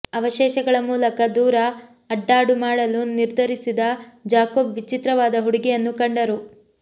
ಅವಶೇಷಗಳ ಮೂಲಕ ದೂರ ಅಡ್ಡಾಡು ಮಾಡಲು ನಿರ್ಧರಿಸಿದ ಜಾಕೋಬ್ ವಿಚಿತ್ರವಾದ ಹುಡುಗಿಯನ್ನು ಕಂಡರು